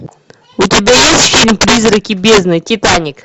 у тебя есть фильм призраки бездны титаник